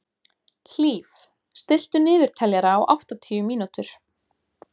Hlíf, stilltu niðurteljara á áttatíu mínútur.